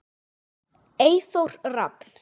Eyþór Rafn.